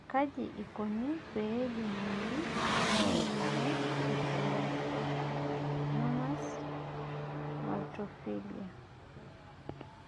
KAJI IKONI PEE EYIOLOUNI ENA MOYIAN e Stenotrophomonas maltophilia